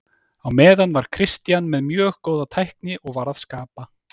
Á meðan var Christian með mjög góða tækni og var að skapa.